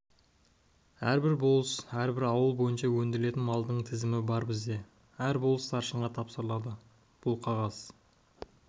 әрбір болыс әрбір ауыл бойынша өндірілетін малдың тізімі бар бізде әр болыс старшынға тапсырылады бұл қағаз